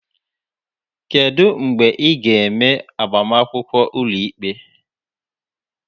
Kedu mgbe ị ga-eme agbamakwụkwọ ụlọikpe?